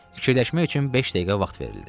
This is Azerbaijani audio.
Fikirləşmək üçün beş dəqiqə vaxt verildi.